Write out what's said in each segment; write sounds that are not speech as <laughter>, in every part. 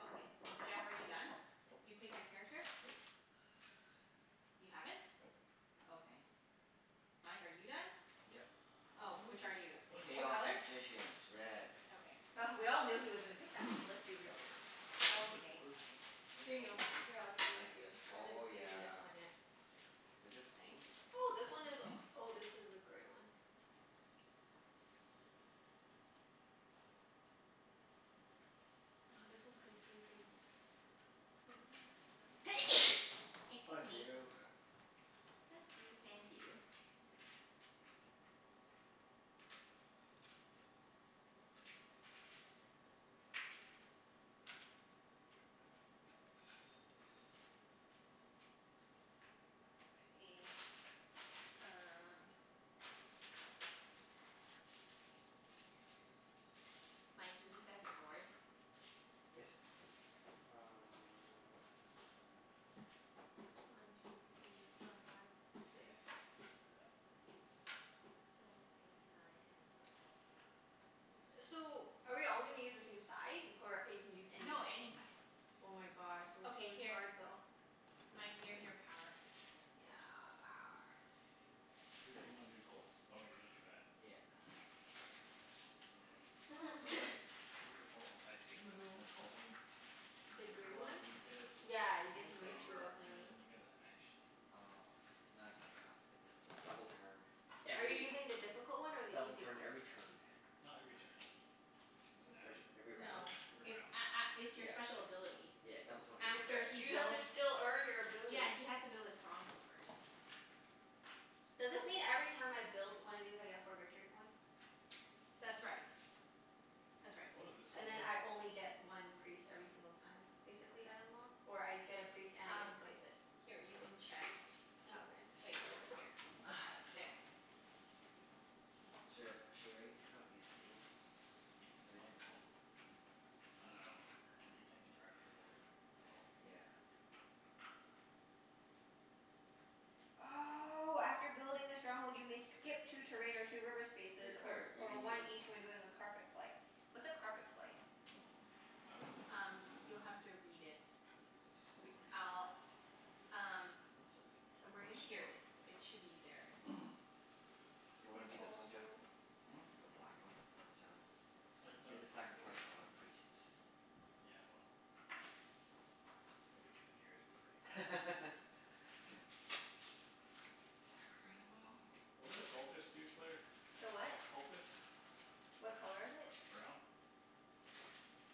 Okay. Jeff, are you done? Nope. You pick your character? Nope. <noise> You haven't? Nope. Okay. Mike, are you done? Yep. Oh. Which are you? What Chaos <inaudible> color? Magicians. Red. Okay. Oh we all knew he was gonna pick that one. <noise> Let's be real now. <inaudible> I Okay, fine. don't Here even know you what go. this Here, I'll is. trade with you. Thanks. I haven't Oh seen this yeah. one yet. Was this pink? Oh, this one is, <noise> oh, this is a gray one. Oh, this one's confusing. <inaudible> <noise> Excuse Bless me. you. Bless you. Thank you. <noise> Okay, um Mike, can you set up your board? <noise> Yes. Uh <noise> One two three four five six. Seven eight nine ten eleven twelve. <noise> So, are we all gonna use the same side, or you can use No, anything? any side. <noise> Oh my gosh, <noise> it looks Okay, really here. hard though. Mike, here's your <noise> power. Thanks. Yeah, power. You said you wanted to be the cults? Oh, you wanna do that. Yeah. <noise> Or is Mm. that <noise> the <noise> This is a cult o- I think this a cult one? The This green one? one, you Oh. get Yeah, you get one to move two favor Oh. and you <inaudible> get a action. Oh, okay. No, it's okay, I'll stick with the double turn, Are you every, using the difficult one or the double easy turn one? every turn. Not every turn. It's an Every action. every No. round? Every It's round. a- a- it's your Yeah. special ability. Yeah, double turn You every have to After s- he you round. have to builds, still earn your ability. yeah, he has to build his stronghold first. Does this mean every time I build one of these I get four victory points? That's right. That's right. What does this one And then mean? I only get one priest every single time, basically, I unlock? Or I get a priest and I get Um, to place it? here you can check Oh, okay. Wait. Here. <noise> There. <noise> Sh- should I take out these tables? Are they What? too tall? I dunno. We can't <noise> interact with the board. That's all. Yeah. Oh, after building the stronghold you may skip two terrain or two river Hey spaces, or Claire, you or can use one this one. each when doing a carpet flight. What's a carpet flight? I dunno. Um you'll have to read it. We'll use this Re- over here. I'll, um So we can Somewhere in touch it's the here? here. board It's, over there. it should be there. <noise> Do you wanna It's be this one, Jeff? also Hmm? The black one? He sounds I've You have done to it before. sacrifice a lot of priests. Yeah, well, the priests. Nobody giv- cares about the priests. <laughs> Sacrifice them all. What do the cultists do, Claire? The what? Cultists? What color is it? Brown.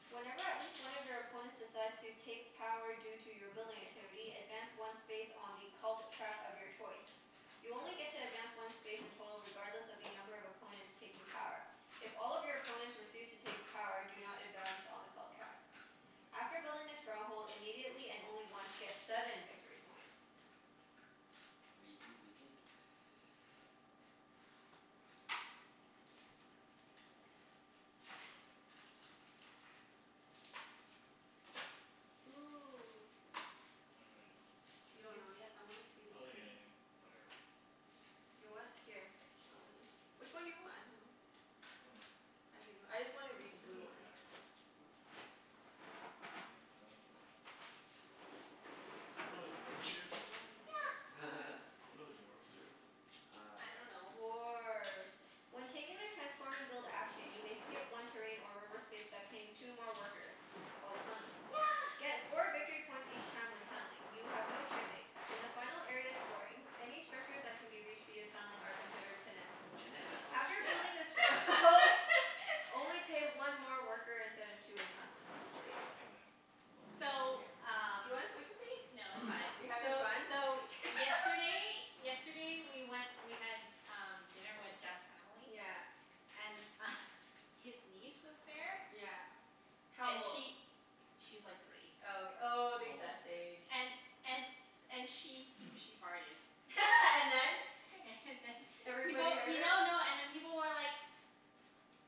Whenever at least one of your opponents decides to take power due to your <noise> building activity, advance one space on the cult track of your choice. You only get to advance one space in total regardless of the number of opponents taking power. If all of your opponents refuse to take power do not advance on the cult track. I After see. building the stronghold immediately, and only once, get seven victory points. v p b p. Ooh. I don't really know. You don't You know yet? I wanna see the I'll take green anything. Whatever. You what? Here. I'll let you, which one do you want? I dunno. I dunno. <inaudible> I just wanna read the It really blue doesn't one. matter. It doesn't matter. What do dwarves do? <inaudible> Yeah. <laughs> What do the dwarves do? I Uh dunno. Dwarf. When taking the transform and build action you may skip one terrain or reverse space by paying two more workers. Called tunneling. Yeah. Get four victory points each time when tunneling. You have no shipping. In the final area of scoring, any structures that can be reached via tunneling are considered connect. Junette, that's so much After gas. building a strong <laughs> hold, <laughs> only pay one more worker instead of two when tunneling. Okay. I'll take them. We'll see. So, Mkay. Do you um wanna switch with me? No, <noise> You're it's fine. having So fun? so yesterday <laughs> Yesterday we went, we had um dinner with Jeff's family. Yeah. And <laughs> his niece was there. Yeah. How And old? she, she's like three. Oh, ok- oh, the Almost best three. age. And and s- and she <noise> she farted. <laughs> And then? <laughs> And then Everybody People, heard her? no no, and then people were like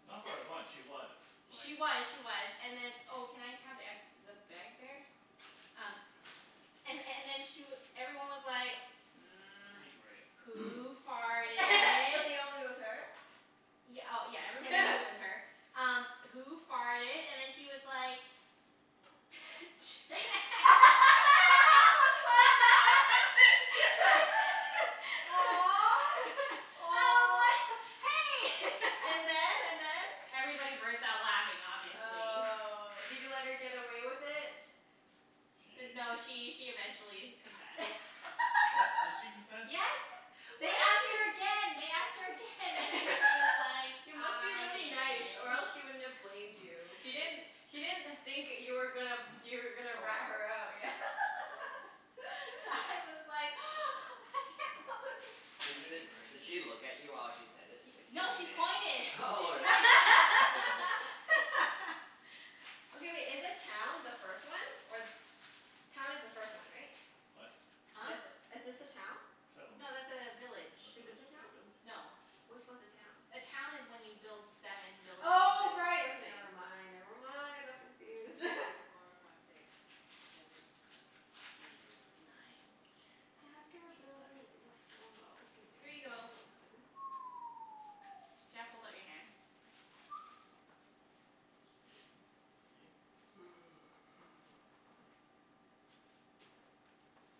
Not farted once. <noise> She was, like She was, she was. And then Oh, can I have the ex- the bag there? Um and and then she w- everyone I need was gray. like, <noise> <noise> "Who <laughs> But they farted?" all knew it was her? Y- oh, yeah, everyone knew Everybody. it <laughs> was her. Um "Who farted?" and then she was like <laughs> I <laughs> was like, <laughs> <inaudible> Aw. <laughs> Aw. "Hey!" <laughs> And then? And then? Everybody burst out laughing, obviously. Oh. Did you let her get away with it? D- no, She she she eventually confessed. What? Did <laughs> she confess? Yes. Why They do asked her pe- again, they asked her again and then <laughs> she was like, You must be "I really did." nice or else she wouldn't have blamed <noise> you. She didn't, she didn't think that you were gonna, <noise> you were gonna Call her rat out? her out. Yeah. <laughs> <laughs> I was like <noise> <laughs> Di- <inaudible> the di- did grays. she look at you while she said it? It's like, No, she pointed. <laughs> She "Junette." <laughs> Really? pointed at me. <laughs> <laughs> Okay wait, is the town the first one, or the se- Town is the first one, right? What? Huh? This, is this a town? Settlement. No, that's a village. Or Is this village? a Is town? it village? No. Which one's a town? A town is when you build seven buildings Oh, and right. Okay, never <inaudible> I mind, never never mind. want I to go got confused. <laughs> through <inaudible> four five six seven eight nine <noise> After ten eleven building the strongholds you twelve. can Here you <inaudible> a go. token. <noise> Jeff, hold out your hand. <noise> <noise> Fifteen? <noise>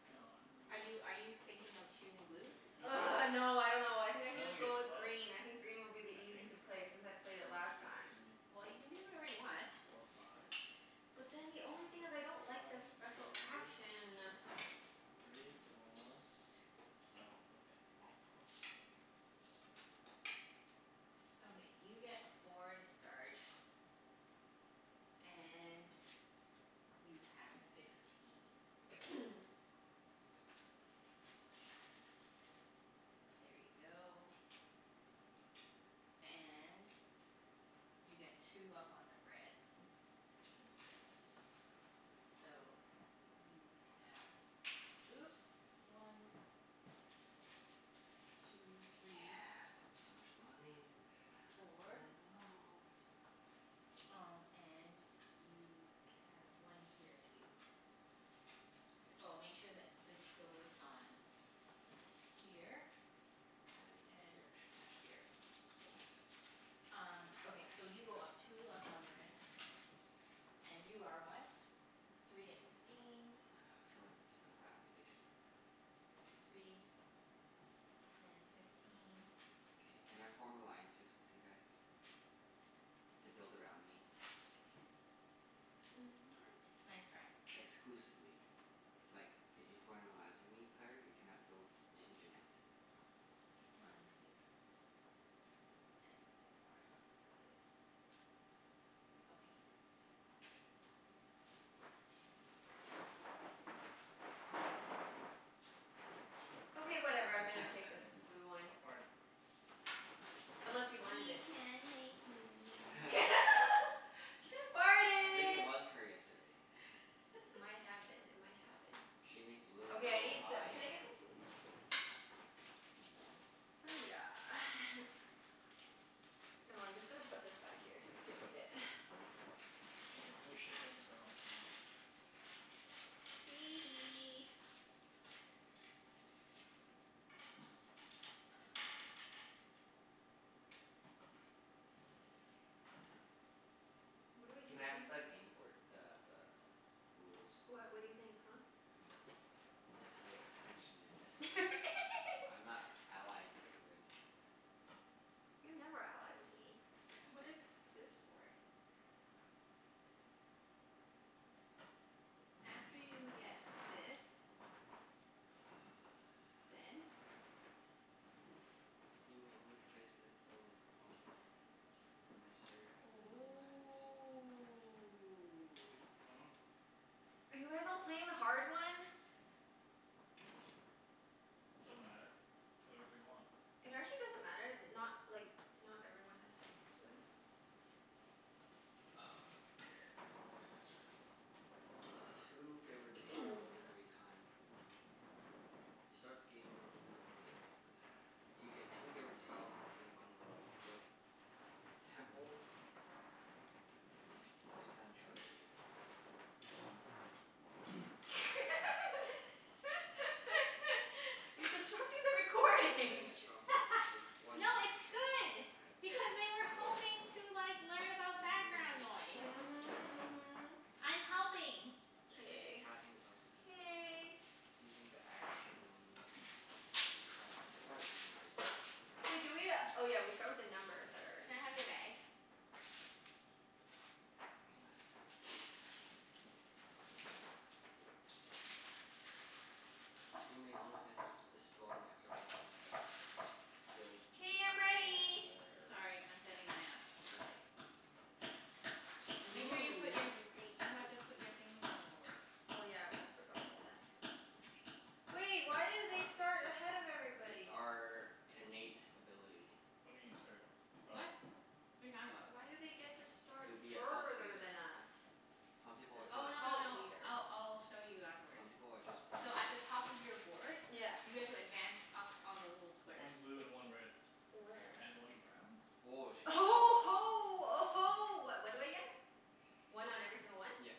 No, I only get Are you are you thinking of choosing blue? I only get, Argh, no, I dunno. I think I I should only just get go with twelve. green. I think green will be the I think. easiest to play, since I played it One last two time. Well, you can do whatever three you want. four five. <noise> But then the only thing is I don't like the One special two action. three four, oh okay. Yeah, twelve. <noise> Okay, you get four to start. And you have fifteen. <noise> <noise> There you go. And you get two up on the red. <noise> So, you have, oops. One. Two three. Yeah, start with so much money. Four. <inaudible> Um and you can, one here too. K. Oh, make sure that this goes on here. And And here. Shipping here. here. Cool, thanks. Um, okay. So you go up two up on the red. And you are what? Three and fifteen. I feel like this is my battle station. Three and fifteen. K, can I form alliances with you guys to build around me? <inaudible> Mm, what? Nice try. Exclusively. Like, if you form an alliance with me, Claire, you cannot build with Two Junette. more. One two. And I need one more for this. Okay. Okay, whatever. I'm gonna take <laughs> this blue one. Stop farting. Unless you wanted You it? can't make me. <laughs> <laughs> <laughs> She I think it farted. was her yesterday. It might have been. It might have been. She made the little Okay, I girl need the, lie. can I get the blue p- Oh yeah. <noise> Oh, I'm just gonna put this back here so you can read it. <noise> And I get no shipping, so I don't actually need this. Hee <noise> hee. <noise> <noise> What do I do Can I have again? the gameboard, the the rules? What, what do you think, huh? Yes, thanks thanks Junette. <laughs> I'm not allying with you anymore, Claire. You never ally with me. Yeah, I What is this for? After you get this <inaudible> six, go Then? again. <noise> You may only place this dwelling after all players necessary after nomads. Ooh. Hmm? Are you guys all playing the hard one? Doesn't matter. Play whatever you want. It actually doesn't matter. Not, like not everyone has to do that. Oh. <noise> <noise> I get two favorite tiles <noise> every time. You start the game when dwelling You get two favorite tiles instead of one when you build temple or sanctuary. <noise> <laughs> You're disrupting the If you're recording. building a stronghold <laughs> No, take one action it's good token as a because <laughs> they were hoping special to like learn You may about background take noise. the Mhm, mhm. I'm <inaudible> helping. K. Passing is also considered K. Using the action to keep track of using the special Wait do we uh, oh yeah, we start with the numbers that are Can I in have your bag? <noise> <noise> <noise> <noise> You may only place th- this dwelling after all players have built all K, I'm ready. theirs. Sorry, I'm setting mine up. Okay. Make Ooh, sure you you're put gonna be your, you green. have Hmm? to put your things on the board. Oh yeah, I almost forgot about that. Wait, why do they start ahead of It's everybody? our innate ability. What do you mean you start? Oh. What? What are you talking about? Why do they get to start To be a cult further leader. than us? Some people As are a just Oh, no no cult no. leader. I'll I'll show you Some afterwards. people are just born So at the better. top of your board Yeah. you guys will advance up on the little One squares. blue and one red. Where? And one brown? Woah, she Uh gets huh oh huh ho uh ho. What what do I get? One on every single one? Yep.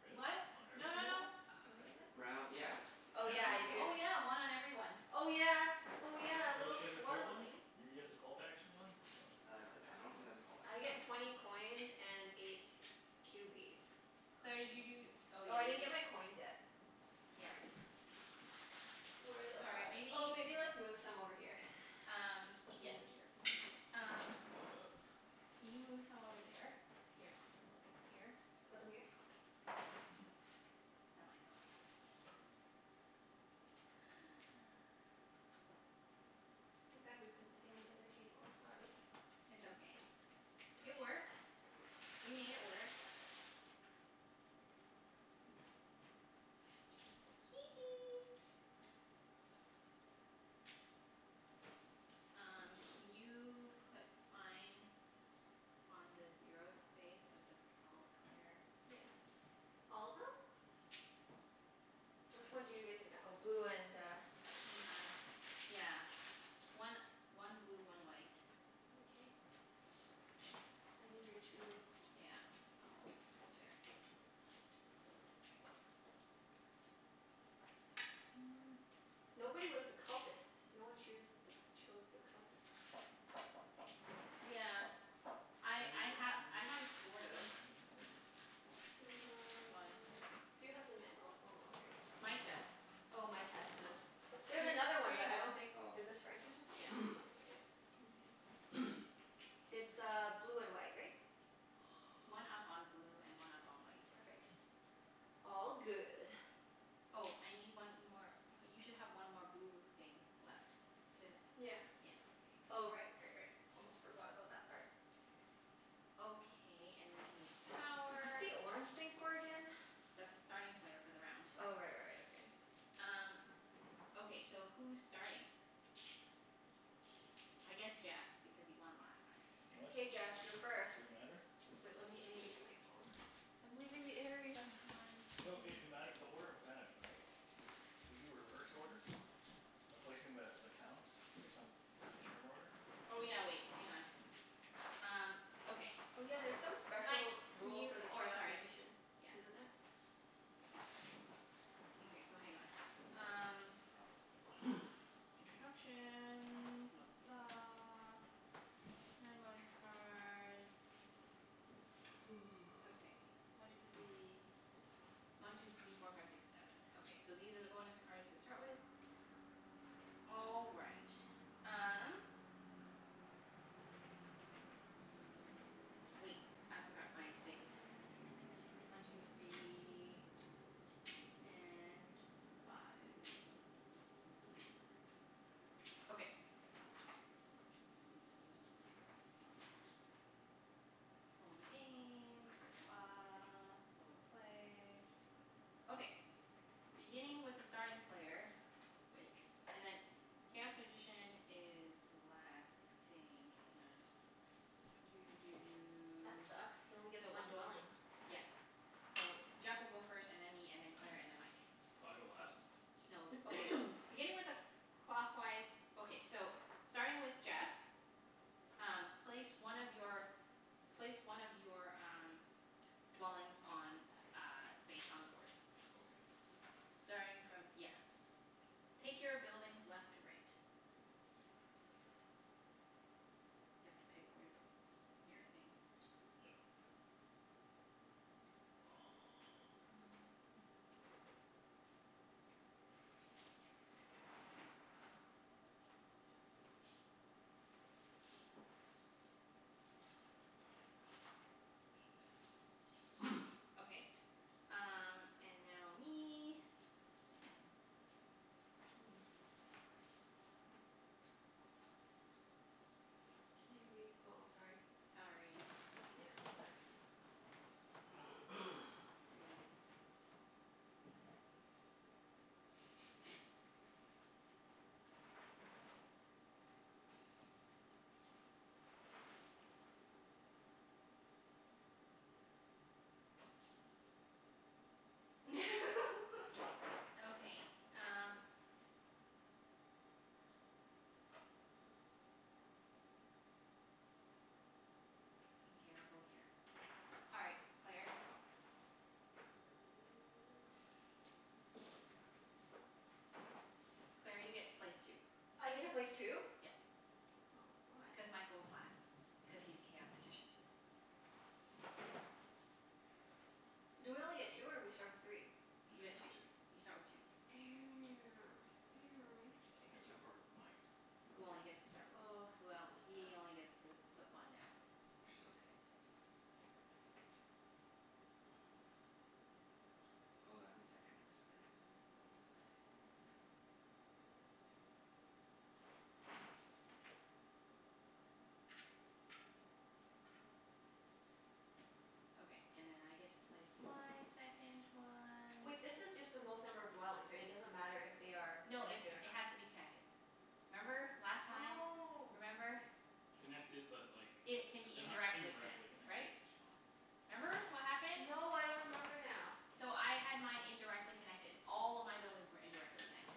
Really? What? On every No no single one? no. <inaudible> Brown, yeah. Oh yeah, Yeah. Cuz I this. do. Oh, yeah. One on every one. Oh yeah, oh yeah. A Oh, little she has a cult one? swarmling. You get the cult action one? Wow, Uh I I I interesting. don't think dunno. that's called I get <inaudible> twenty coins and eight cubies. Claire, did you do oh, Oh, yeah, I you didn't get gave my coins yet. Yeah. Sorry. <noise> Where the Sorry, f- maybe oh, maybe let's move some over here. Um, <noise> Just put some yeah. over here or C- something. um <noise> Can you move some over there? Here. Here? Put them here? Yeah. That might help. Too bad we couldn't play on the other table. Sorry. It's okay. Twenty It coins. works. We made it work. Oops. <noise> Hee hee. Um can you put mine on the zero space of the cult, Claire? Yes. All of them? Which one do you get to v- oh, blue and uh Hang on. Yeah. One one blue, one white. Mkay. I need your two Yeah. I'll put it there. Just a second. <noise> Nobody was the cultist. No one choose th- chose the cultist. Yeah. I Can I read I the ha- manual again? The manual I thing? have sort of. One. Mm. Do you have the manual? Oh no, here it is. Mike does. Oh, Oh, Mike? Mike has the, H- there's another one but I here don't you go. think, Oh. is this French or something? <noise> Yeah. Oh. <noise> Mkay. <noise> It's uh blue and white, right? One up on blue <noise> and one <noise> up on white. Perfect. All good. Oh, I need one more, you should have one more blue thing left. Did, Yeah. yeah, okay. Oh Good. right, right, right. Almost forgot about that part. Okay, and then I need What's power. the orange thing for again? <noise> That's the starting player for the round. Oh right, right, right. Okay. Um, okay so who's starting? I guess Jeff, because he won last time. What? K Jeff, you're first. Does it matter? Wait, let me, I need to get my phone. I'm leaving the area. One No it two it mat- the order matters, right? Cuz do we do reverse order by placing the the towns <inaudible> return order? Oh yeah, wait. Hang on. Um okay. Oh yeah, there's some Mike, special can rule you, for the oh, chaos sorry. magician. Yeah. Isn't there? Okay, so hang on. Um Oh. <noise> <noise> Instructions. Blah blah blah. <inaudible> Okay, one two <noise> three One two three four five six seven. Okay, so these are the bonus cards to start with. All right. Um Wait, I forgot my things. One two three <noise> And five. Five five. Okay. All the game. Blah, blah, blah. All the play. Okay. Beginning with the starting player Wait. And then, chaos magician is last, I think. Hang on. <noise> Doo doo That doo. sucks. Can only get So one one two three four dwelling. Yep. So Jeff will go first, and then me, and then Claire, and then Mike. So I go last? No, okay, Or so. <noise> Beginning with a cl- clockwise Okay, so starting with Jeff Um place one of your, place one of your um dwellings on a space on the board. Okay. Starting from, yeah. Take your buildings left to right. <noise> You have to pick where to put your thing. Yep. <noise> Oh yeah, Um hmm. <noise> <noise> Okay. Um and now me. <noise> Can I read, oh, sorry. Sorry. Yeah, it's okay. <noise> Green. <noise> <noise> <noise> <laughs> Okay, um Okay, I'll go here. All right, Claire. <noise> Claire, you get to place two. I get to place two? Yep. Oh. Why? Cuz Mike goes last, cuz he's chaos magician. Do we only get two or we start with three? You You get two. start two. You start with two. <noise> Except Interesting. for Mike. Who only gets to start, Oh, well, this is tough. he only gets to put one down. Which is okay. <noise> Oh, that means I can't expand unless I <noise> Okay, and then I get to place my second one. Wait, this is just the most number of dwellings, right? It doesn't matter if they are No, it's, connected or it not. has to be connected. Remember, last time? Oh. Remember? Connected but like they It can be h- indirectly indirectly connect- connected right? is fine. Remember what happened? No, I don't remember now. So I had mine indirectly connected. All of my buildings were indirectly connected.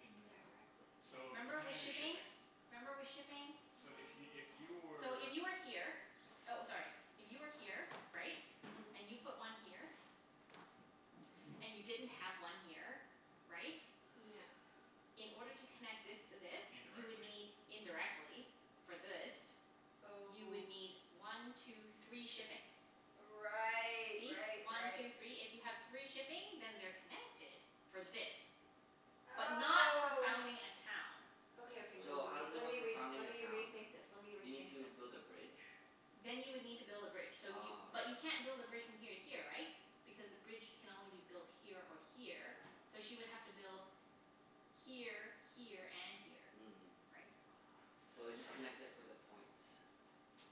Indirectly. So, Remember depending with on your shipping? shipping. Remember with shipping? So if y- if you <noise> So were if you were here, oh, sorry. If you were here, right? Mhm. And you put one here. And you didn't have one here, right? Yeah. <noise> <noise> In order to connect this to this, you would Indirectly. need, indirectly for this You would Oh. need one two three shipping. Right, See? right, One right. two three. If you have three shipping then they're connected for this. But not for Oh. founding a town. Okay, okay. Wait, wait, So, how wait. does it Let work me for re- founding let a me town? rethink this. Let me Do you need rethink to this. build a bridge? Then you would need to build a bridge. So you, Ah, but okay. you can't build a bridge from here to here, right? Because the bridge can only be built here or here, <noise> so she would have to build here, here, and here. Mm. Right? So it <noise> just connects it for the points.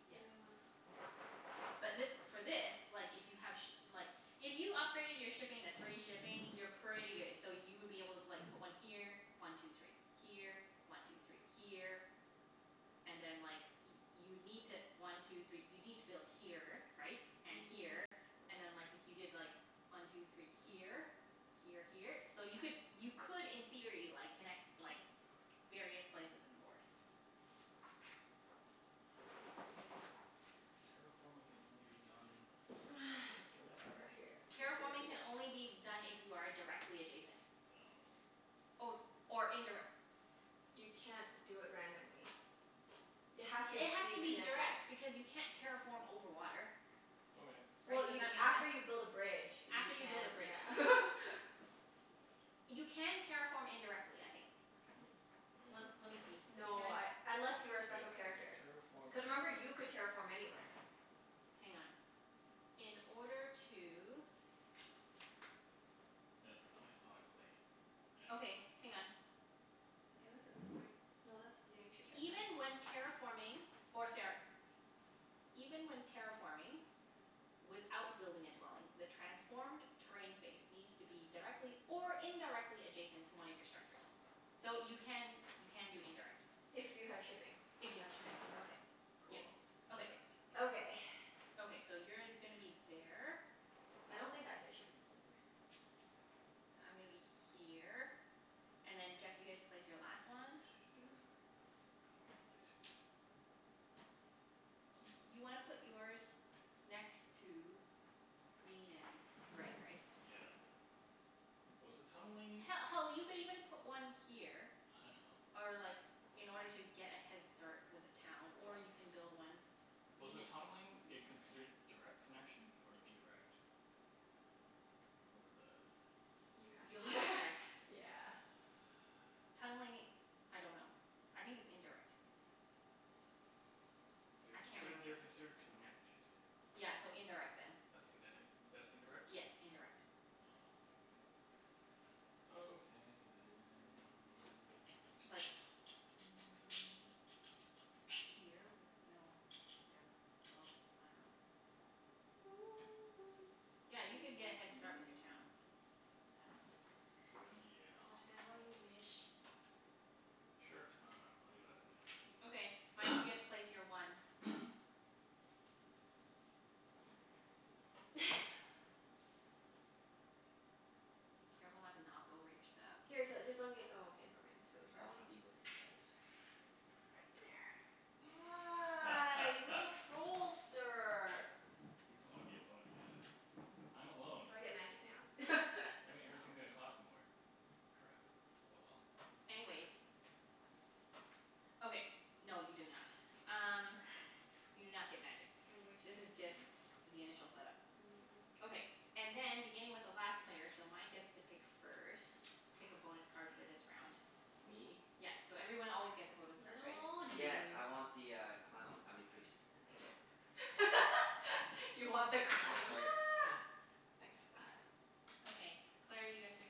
Yeah. Yeah. But this, for this, like if you have shi- like If you upgraded your shipping to three shipping, you're pretty good. So you would be able to like put one here. One two three. Here. One two three. Here. And then like y- you'd need to, one two three, you'd need to build here, right? And Mhm. here. And then like, if you did like, one two three here? <noise> Here, here. So you could, you could in theory like, connect like <noise> various places in the board. <noise> Terraforming can only be done <noise> directly Okay, connected? whatever. Here, I'm Terraforming just can gonna do only be this. done if you are a- directly adjacent. No. Or, or indirec- You can't do it randomly. You have to It has be to be connected. direct because you can't terraform over water. Okay. Well Right? Does you, that make after sense? you build a bridge you After you build a can, bridge, yeah. yeah. <laughs> You can terraform indirectly, I think. Can you? Let let me see. Can No, I, I unless Just you're a wait, special okay, character. terraform Cuz remember, you <inaudible> could terraform anywhere. Hang on. In order to Might affect my how I play. I don't Okay, know. hang on. Yeah, that's a good point. No, that's, yeah, you should check that. Even when terraforming or sara- Even when terraforming without building a dwelling the transformed terrain space needs to be directly or indirectly adjacent to one of your structures. So you can, you can do indirect. If you have shipping. If you have shipping, Okay. yeah. Cool. Which I Okay. don't. Okay. Okay. <noise> Okay, so you're gonna be there. I don't think I get shipping for the I'm gonna be here, and then Jeff you get to place your last one. Shit. Yeah. <noise> I don't know where to put it. Y- you wanna put <noise> yours next to green and red, right? Yeah. Was the tunneling He- hell, you could even put one here I know. or like, in order to get a head start with a town. Or you can build one Was Green the tunneling it considered <inaudible> direct connection or indirect? For the You have You'll have to to check. <laughs> yeah. <noise> Tunneling, I dunno. I think it's indirect. <noise> They I are can't consid- they are remember. considered connected. Yeah, so indirect then. That's indin- that's Yes, indirect? indirect. Oh, okay. Okay <inaudible> then. Like mm Here would, no, yeah. Well, <noise> I dunno. Yeah, you could get a head start with your town. <noise> Yeah. Whatever you Probably. wish. Sure. I dunno. I'll do that for now. Okay. Mike, you get to place your one. <noise> <noise> <noise> <laughs> Careful not to Oh. knock over your stuff. Here t- just let me, oh, okay, never mind. It's really I hard wanna to be with you guys. Right there. Ah, you little <laughs> trollster. He doesn't want to be alone, I guess. I'm alone. Do I get magic now? <laughs> That mean No. everything's gonna cost more. Crap. Oh well. Anyways. Okay. No, you do not. Um <laughs> you do not get magic. I wish This I is just did. the initial set up. Mm, yeah. Okay. And then beginning with the last player, so Mike gets to pick first. Pick a bonus card for this Please. round. Me? Yep, so everyone always gets a bonus card, Little right? old Yes, you. I want the uh clown. I mean priest. <laughs> You want the Thank. Oops, clown. sorry. <noise> Thanks. <noise> Okay. Claire, you get to pick.